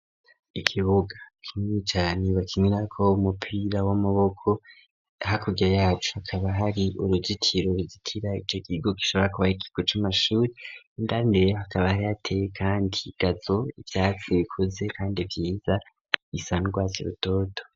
Ikibuga, kinini cane bakinirako umupira w'amaboko, hakurya yaco hakaba hari uruzitiro ruzitira, iki kigo kishoba kuba Ari ikigo c'amashuri, indani rero hakaba harateye kandi igazo ,ivyatsi bikuze kandi vyiza bisa n'urwatsi rutoto.